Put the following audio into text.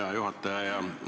Hea juhataja!